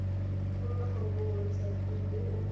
pagolola foromo mo websaeteng mme